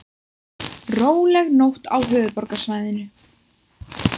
Róleg nótt á höfuðborgarsvæðinu